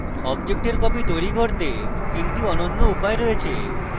অবজেক্টের copies তৈরী করতে 3 টি অন্যান্য উপায় রয়েছে